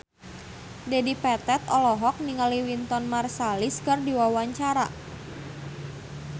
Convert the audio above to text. Dedi Petet olohok ningali Wynton Marsalis keur diwawancara